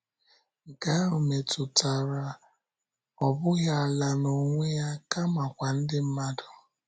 Nke ahụ metụtara, ọ bụghị ala n’onwe ya, kamakwa ndị mmadụ.